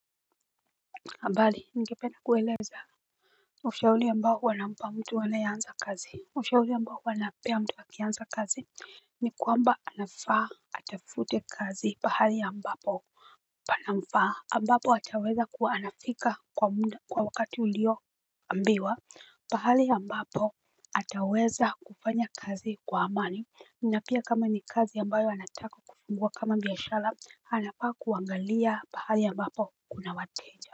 Mbali, ningependa kueleza ushauli ambao huwana mpa mtu anayeanza kazi. Ushauli ambao huwanapea mtu akianza kazi ni kwamba anafaa atafute kazi pahali a mbapo pamnafaa ambapo ataweza kuwa anafika kwa wakati ulio ambiwa. Pahali a mbapo ataweza kufanya kazi kwa amani Ninapia kama ni kazi ambayo anataka kufungua kama biashara anafaa kuangalia pahali a mbapo kuna wateja.